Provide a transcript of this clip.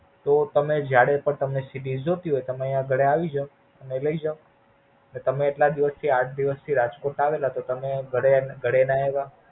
તો તમે જયારે પણ તમે CD જોતી હોઈ તમે અઇયા ઘરે આવી જાવ. અને લઇ જાવ. તો તમે એટલા દિવસ થી આઠ દિવસથી રાજકોટ આવેલા તો તમે ઘડે ઘડે ના આવ્યા?